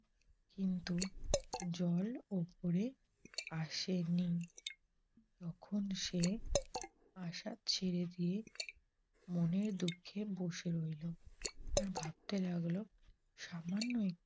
কিন্তু জল ওপরে আসেনি। তখন সে আশা ছেড়ে দিয়ে মনের দুঃখে বসে রইল। আর ভাবতে লাগল সামান্য একটু